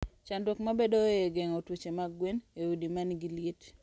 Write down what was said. Chandruok mabedoe e geng'o tuoche mag gwen e udi ma nigi liet.